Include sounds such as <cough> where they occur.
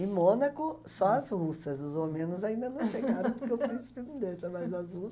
Em Mônaco, só as russas, os homenos ainda não <laughs> chegaram, porque o príncipe não deixa, mais as